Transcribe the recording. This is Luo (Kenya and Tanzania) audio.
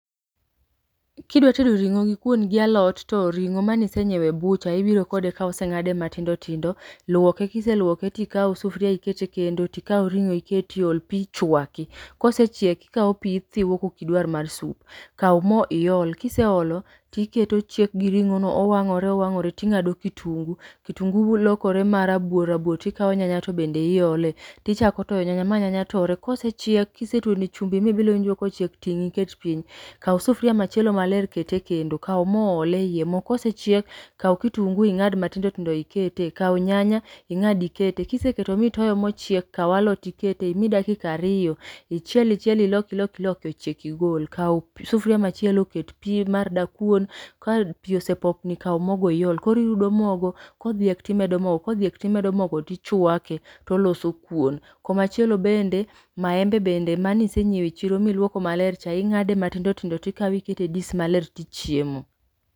Kidwa tedo ring'o gi kuon gi alot to ring'o mane isenyieo e butcher ibiro kode ka oseng'ade matindo tindo, luoko kiseluoke to ikau sufria iket e kendo tikaoa ring'o iketie, ol pi, chwaki. Kosechiek to ikao pi ithiwo ka okidwar mar sup. Kau mo iol, kiseolo tiketo chiek gi ring'o no owang'ore owang'ore tinga'do kitungu, kitungu lokore ma rabuor rabuor tikao nyanya to bende iole, tichako toyo nyanya ma nyanya tore, kosechiek kisetuone chumbi mibilo iwinjo kochiek, ting' iket piny. Kau sufria machielo maler, ket e kendo, kau mo ol e ie mo ka osechiek, kau kitungu ing'ad matindo tindo ikete, kau nyanya ing'ad ikete, kiseketo ma itoyo mochiek kau alot ikete imi dakika ariyo ichiele ichiele, ilok ilok iloki, ochiek igole. Kau p sufria machielo ket pi mar dakuon, ka pi osepopni kau mogo iol, koro irudo mogo, kodhiek to imedo mogo kodhiek to imedo mogo tichwake to oloso kuon. Koma chielo bene maembe bende mane isenyieo e chiro ma iluoko maler cha, ing'ade matindo tindo tikawe ikete e dis maler to ichiemo.